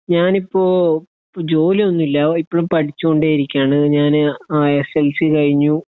ഞാൻ ഇപ്പൊ ജോലി ഒന്നും ഇല്ല ഇപ്പോഴും പഠിച്ചുകൊണ്ടേ ഇരിക്കാണ് ഞാൻ ആ സ് സ് ൽ സി കഴിഞ്ഞു